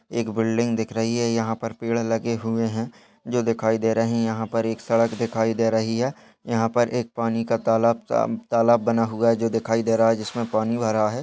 एक बिल्डिंग दिख रही है यहाँ पर पेड़ लगे हुए हैं जो दिखाई दे रहे हैं यहाँ पर एक सड़क दिखाई दे रही हैं यहाँ पर एक पानी का तालाब-ता-तालाब बना हुआ है जो दिखाई दे रहा हैं जिसमें पानी भरा है।